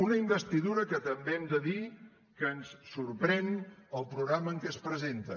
una investidura que també hem de dir que ens sorprèn el programa amb què es presenta